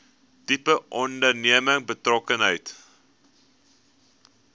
tipe onderneming betrokkenheid